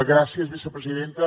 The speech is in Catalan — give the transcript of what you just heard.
gràcies vicepresidenta